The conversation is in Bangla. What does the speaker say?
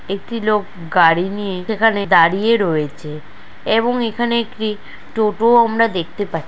একটি লোক গাড়ি নিয়ে এখানে দাঁড়িয়ে রয়েছে এবং সেখানে একটি টোটোও আমরা দেখতে পাই।